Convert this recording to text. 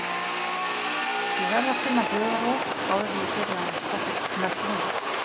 Ég verð að finna hugarró áður en ég byrja á næstu mynd.